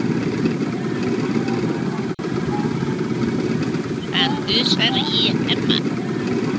Það hnussar í Hemma.